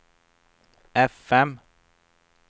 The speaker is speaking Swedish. fm